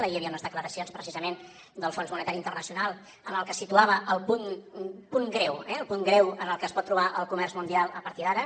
ahir hi havia unes declaracions precisament del fons monetari internacional en les quals situava el punt greu eh en què es pot trobar el comerç mundial a partir d’ara